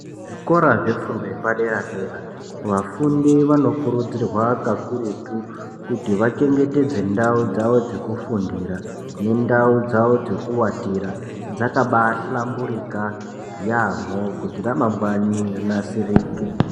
Zvikora zvefundo yepadera dera vafundi vanokurudzirwa kakurutu vachengetedze ndau dzawo dzekufundira ngendau dzawo dzekuwatira dzakabahlamburika yamho kuti ramangwani rinasirike.